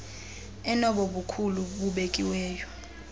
enobo bukhulu bubekiweyo